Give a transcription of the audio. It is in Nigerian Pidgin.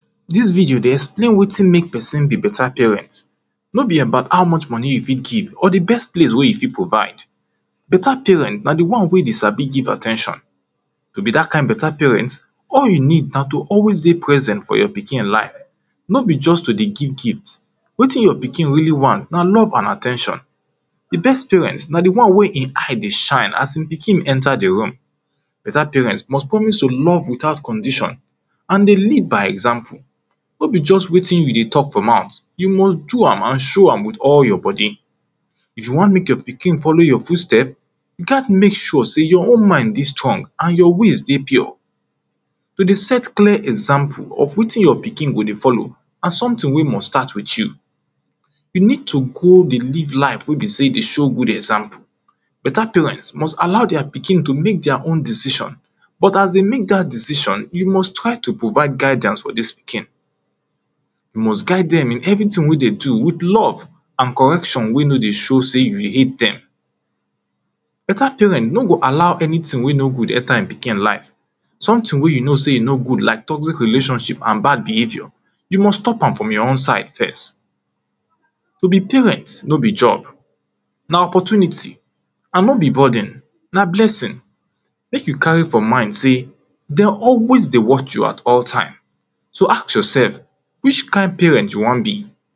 Dis video dey explain wetin makeperson be better parent no be about how much money you fit keep or di best place wey you fit provide Better parent na di one wey sabi give at ten tion To be dat kind better parent all you need na to always dey present for your pikin life No be just to dey give gift. Wetin you pikin really want na love and at ten tion Di best parent na di one wey e eye dey shine as im pikin enter di room Better parents must promise to love without condition and dey lead by example No be just wetin you dey talk for mouth, you must do am and so am with all your body If you want make your pikin follow your footstep, you gat make sure sey you own mind dey strong and your ways dey pure to dey set clear example of wetin your pikin go dey follow na something wey must start with you You need to go dey live life wey be sey e dey show good example Better parents must allow their pikin to make their own decision But as dey make dat decision, you must try to provide guidance for dis pikin You must guide dem in everthing wey dem do with love and correction wey no dey show sey you hate dem Better parent no go allow any thing wey no good enter im pikin life something wey you know sey e no good like toxic relationship and bad behaviour you must stop from your own side first. To be parent no be job na opportunity and no be burden na blessing Make you varry for mind sey, dem always dey watch you at all time So ask yourself, which kind parent you wan be